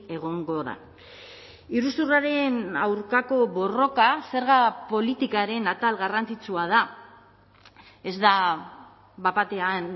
egongo da iruzurraren aurkako borroka zerga politikaren atal garrantzitsua da ez da bat batean